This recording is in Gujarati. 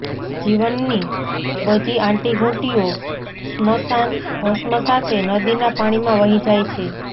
જીવનની બધી આંટીઘૂંટીઓ સ્મશાન ભસ્મ સાથે નદીના પાણીમાં વહી જાય છે